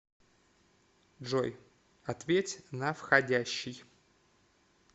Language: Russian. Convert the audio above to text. джой ответь на входящий